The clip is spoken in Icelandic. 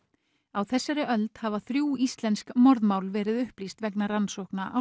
á þessari öld hafa þrjú íslensk morðmál verið upplýst vegna rannsókna á